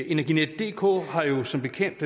energinetdk har jo som bekendt